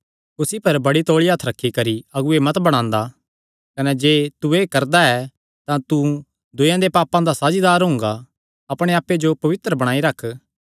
कुसी पर बड़ी तौल़ी हत्थ रखी करी अगुऐ मत बणांदा कने जे तू एह़ करदा ऐ तां तू दूयेयां दे पापां दा साझीदार हुंगा अपणे आप्पे जो पवित्र बणाई रख